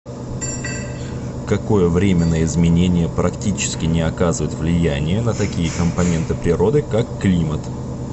какое временное изменение практически не оказывает влияние на такие компоненты природы как климат